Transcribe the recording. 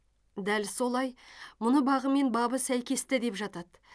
дәл солай мұны бағы мен бабы сәйкесті деп жатады